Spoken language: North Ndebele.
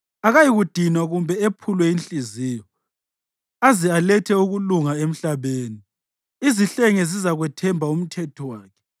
akayikudinwa kumbe ephulwe inhliziyo aze alethe ukulunga emhlabeni. Izihlenge zizakwethemba umthetho wakhe.”